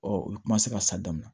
u bɛ kuma se ka sa daminɛ